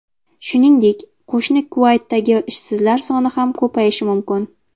Shuningdek, qo‘shni Kuvaytdagi ishsizlar soni ham ko‘payishi mumkin.